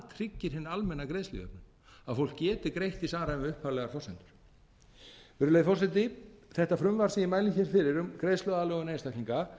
tryggir hina almennu greiðslujöfnun að fólk geti greitt í samræmi við upphaflegar forsendur virðulegi forseti þetta frumvarp sem ég mæli hér fyrir um greiðsluaðlögun einstaklinga